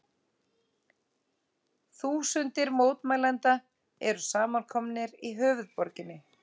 Þúsundir mótmælenda eru samankomnar í höfuðborginni